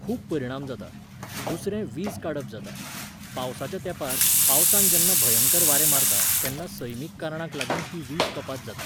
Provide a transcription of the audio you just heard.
खूब परिणाम जाता. दुसरें, वीज काडप जाता. पावसाच्या तेंपार, पावसान जेन्ना भंयकर वारें मारता तेन्ना सैमीक कारणांक लागून ही वीज कपात जाता.